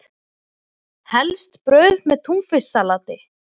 Helst brauð með túnfisksalati.